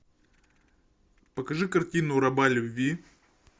покажи картину раба любви